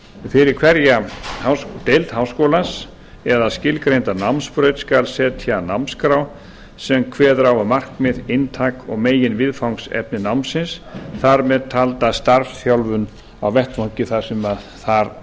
fyrir hverja deild háskólans eða skilgreinda námsbraut skal setja námsskrá sem kveður á um markmið inntak og meginviðfangsefni námsins þar með talda starfsþjálfun á vettvangi þar sem það